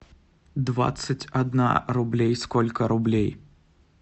двадцать одна рублей сколько рублей